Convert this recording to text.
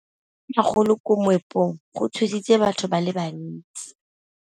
Go wa ga matlapa a magolo ko moepong go tshositse batho ba le bantsi.